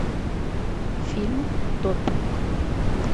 фильм допинг